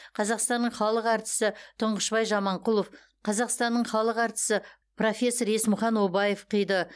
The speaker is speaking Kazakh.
қазақстанның халық әртісі тұңғышбай жаманқұлов қазақстанның халық әртісі профессор есмұхан обаев қиды